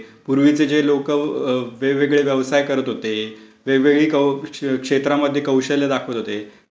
पूर्वीचे जे लोकं वेगवेगळे व्यवसाय करत होते, वेगवेगळ्या क्षेत्रामध्ये कौशल्य दाखवत होते.